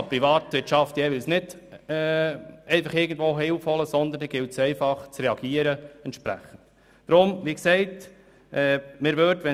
Die Privatwirtschaft kann sich jeweils nicht irgendwo Hilfe holen, sondern sie muss entsprechend reagieren.